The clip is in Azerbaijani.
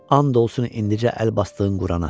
And olsun indicə əl basdığın Qurana.